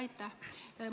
Aitäh!